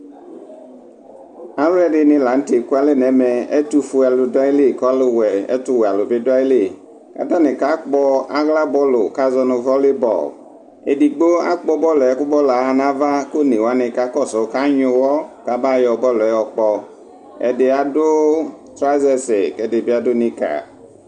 alɔdini latɛ ekualɛ nɛmɛ ɛtuƒuelu duayili ku ɛtuwɛalu bi duayili katani kakpo aɣla bɔlu kazɔnu volleyball edigbo akpobɔluɛ kubɔluɛ ayanava ku onewani kakɔsu ka anyuwɔ kabayo bɔluɛ yɔkpɔ ɛdiadu trousers ku edibi adu nickers